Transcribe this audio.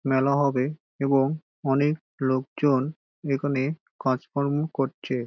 মেলা হবে এবং অনেক লোকজন এখানে কাজকর্ম করছে ।